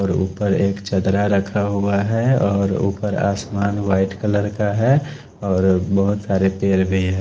और ऊपर एक चदरा रखा हुआ है और ऊपर आसमान वाइट कलर का है और बहुत सारे पेड़ भी है।